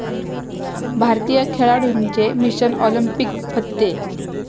भारतीय खेळाडूंचे mission Olympic फत्ते